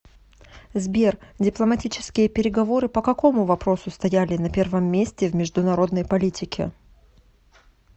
сбер дипломатические переговоры по какому вопросу стояли на первом месте в международной политике